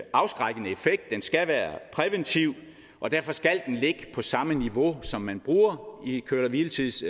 afskrækkende effekt den skal være præventiv og derfor skal den ligge på samme niveau som man bruger i køre hvile tids